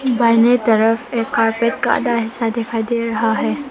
बाहिने तरफ एक कारपेट का आधा हिस्सा दिखाई दे रहा है।